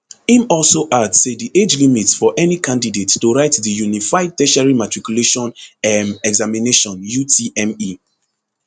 im also add say di age limit for any candidate to write di unified tertiary matriculation um examination utme